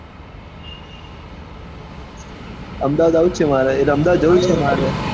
અમદાવાદ આવવું છે મારે એટલે અમદાવાદ જવું જ છે મારે